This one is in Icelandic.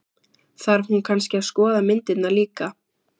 Þarf hún kannski að skoða myndirnar líka?